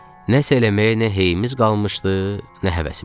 Nəsə eləməyə nə heyimiz qalmışdı, nə həvəsimiz.